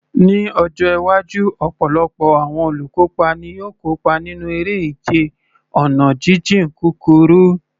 Ní ọjọ́ iwájú, ọ̀pọ̀lọpọ̀ àwọn olùkópa ni yóò kópa nínú eré ìje ọ̀nà jíjìn kúkúrú.